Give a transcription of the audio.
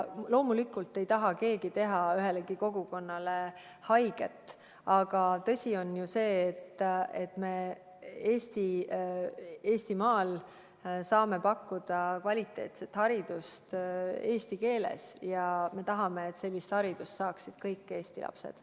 Loomulikult ei taha keegi teha ühelegi kogukonnale haiget, aga tõsi on see, et me Eestimaal saame pakkuda kvaliteetset haridust eesti keeles ja me tahame, et sellist haridust saaksid kõik Eesti lapsed.